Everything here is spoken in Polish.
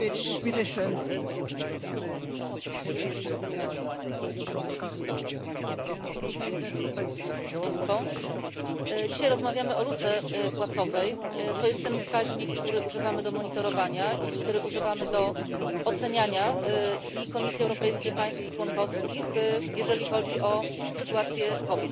Szanowni Państwo! Dzisiaj rozmawiamy o luce płacowej. To jest ten wskaźnik, którego używamy do monitorowania i którego używamy do oceniania i Komisji Europejskiej, i państw członkowskich, jeżeli chodzi o sytuację kobiet.